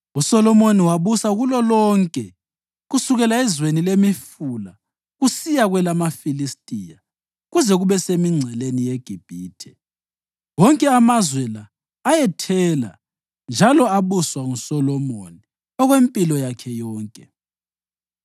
USolomoni wabusa kulolonke kusukela ezweni leMifula kusiya kwelamaFilistiya, kuze kube semingceleni yeGibhithe. Wonke amazwe la ayethela njalo abuswa nguSolomoni okwempilo yakhe yonke.